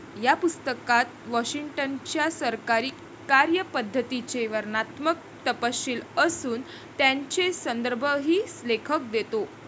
या पुस्तकात वॉशिंग्टनच्या सरकारी कार्यपद्धितीचे वर्णनात्मक तपशील असून त्यांचे संदर्भही लेखक देतो.